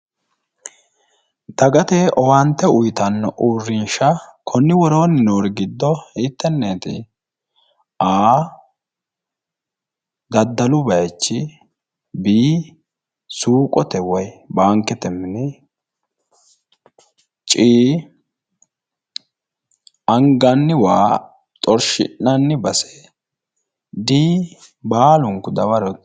Dagate owaante uyitanni uurrinshara konni woroonni noori giddo hiittenneeti? a) daddalu bayichi b) suuqote woyi baankete mini c) anganni waa xorshi'nanni base d) baalunku dawarote